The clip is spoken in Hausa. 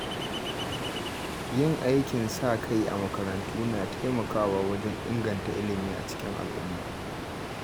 Yin aikin sa-kai a makarantu na taimakawa wajen inganta ilimi a cikin al’umma.